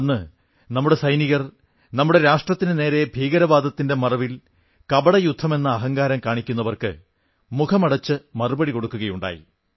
അന്ന് നമ്മുടെ സൈനികർ നമ്മുടെ രാഷ്ട്രത്തിനുനേരെ ഭീകരവാദത്തിന്റെ മറവിൽ കപടയുദ്ധമെന്ന അഹങ്കാരം കാണിക്കുന്നവർക്ക് മുഖമടച്ച് മറുപടി കൊടുക്കുകയുണ്ടായി